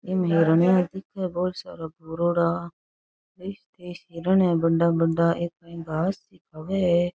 इम हिरणिया दिखे है भोळा सारा कोरेडा बीस तीस हिरण है बड़ा बड़ा घास --